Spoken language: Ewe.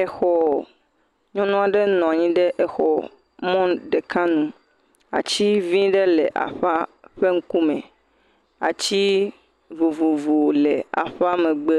Exɔ, nyɔnu aɖe nɔ anyi ɖe exɔ mɔnu ɖeka nu, ati vi aɖe le aƒe ƒe ŋkume ati vovovo le aƒea megbe,